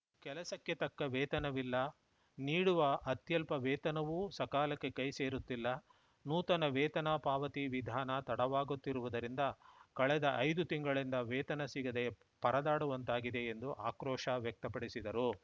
ಕೆಲಸಕ್ಕೆ ತಕ್ಕ ವೇತನವಿಲ್ಲ ನೀಡುವ ಅತ್ಯಲ್ಪ ವೇತನವೂ ಸಕಾಲಕ್ಕೆ ಕೈ ಸೇರುತ್ತಿಲ್ಲ ನೂತನ ವೇತನ ಪಾವತಿ ವಿಧಾನ ತಡವಾಗುತ್ತಿರುವುದರಿಂದ ಕಳೆದ ಐದು ತಿಂಗಳಿಂದ ವೇತನ ಸಿಗದೆ ಪರದಾಡುವಂತಾಗಿದೆ ಎಂದು ಆಕ್ರೋಶ ವ್ಯಕ್ತಪಡಿಸಿದರು